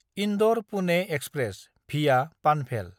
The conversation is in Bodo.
इन्दर–पुने एक्सप्रेस (भिआ पानभेल)